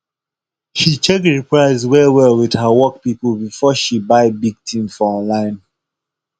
she check the price wellwell with her work people before she buy big thing for online